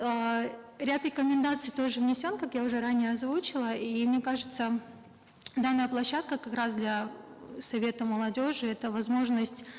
эээ ряд рекомендаций тоже внесен как я уже ранее озвучила и мне кажется м данная площадка как раз для совета молодежи это возможность